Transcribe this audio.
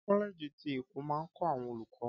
Kọ́lẹ̀ẹ̀jì ti ẹ̀kọ́ máa ń kọ́ àwọn olùkọ́